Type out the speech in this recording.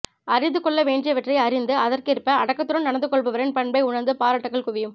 அறிந்து கொள்ள வேண்டியவற்றை அறிந்து அதற்கேற்ப அடக்கத்துடன் நடந்து கொள்பவரின் பண்பை உணர்ந்து பாராட்டுக்கள் குவியும்